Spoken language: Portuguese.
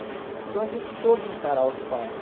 Então a gente soube encarar os fatos.